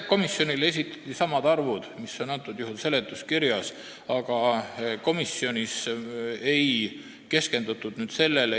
Komisjonile esitati samad arvud, mis on antud seletuskirjas, aga neile komisjonis ei keskendutud.